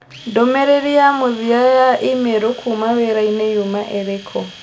Ndũmĩrĩri ya mũthia ya i-mīrū kuuma wĩra-inĩ yuma ĩrĩkũ?